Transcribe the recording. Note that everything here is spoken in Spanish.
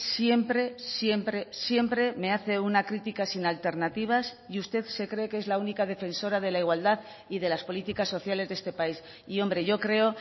siempre siempre siempre me hace una crítica sin alternativas y usted se cree que es la única defensora de la igualdad y de las políticas sociales de este país y hombre yo creo